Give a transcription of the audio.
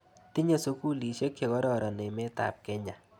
Tinye sukulisiek che kororon emet ap Kenya.